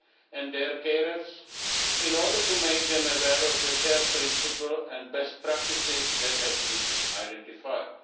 and their carers, in order to make them aware of the care principle and best practices that have been identified.